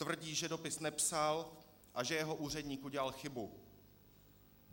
Tvrdí, že dopis nepsal a že jeho úředník udělal chybu.